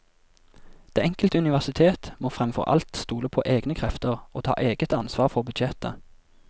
Det enkelte universitet må fremfor alt stole på egne krefter og ta eget ansvar for budsjettet.